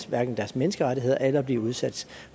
hverken deres menneskerettigheder eller blive udsat